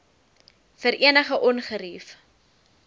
vir enige ongerief